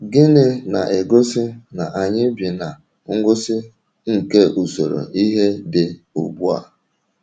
Gịnị na - egosi na anyị bi ná ngwụsị nke usoro ihe dị ugbu a?